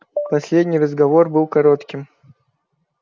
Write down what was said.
последний разговор был коротким